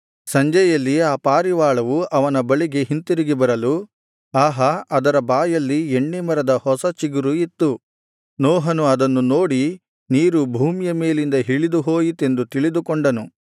ಸಂಜೆಯಲ್ಲಿ ಆ ಪಾರಿವಾಳವು ಅವನ ಬಳಿಗೆ ಹಿಂತಿರುಗಿ ಬರಲು ಆಹಾ ಅದರ ಬಾಯಲ್ಲಿ ಎಣ್ಣೆ ಮರದ ಹೊಸ ಚಿಗುರು ಇತ್ತು ನೋಹನು ಅದನ್ನು ನೋಡಿ ನೀರು ಭೂಮಿಯ ಮೇಲಿಂದ ಇಳಿದು ಹೋಯಿತೆಂದು ತಿಳಿದುಕೊಂಡನು